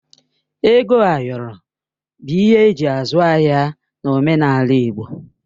Ego ayọrọ bụ ihe eji azụ ahịa n'omenala Igbo